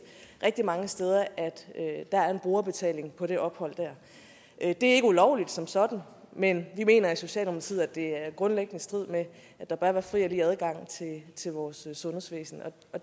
rigtig mange steder at der er en brugerbetaling på det ophold det er ikke ulovligt som sådan men vi mener i socialdemokratiet at det er grundlæggende i strid med at der bør være fri og lige adgang til vores sundhedsvæsen